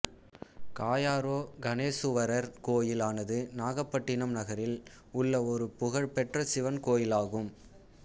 காயாரோகணேசுவரர் கோயில் ஆனது நாகப்பட்டினம் நகரில் உள்ள ஒரு புகழ் பெற்ற சிவன் கோயிலாகும்